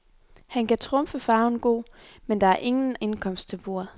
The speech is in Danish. Han kan trumfe farven god, men der er ingen indkomst til bordet.